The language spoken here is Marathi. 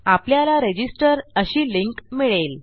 आपल्याला रजिस्टर अशी लिंक मिळेल